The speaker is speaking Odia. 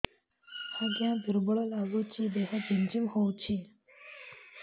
ଆଜ୍ଞା ଦୁର୍ବଳ ଲାଗୁଚି ଦେହ ଝିମଝିମ ହଉଛି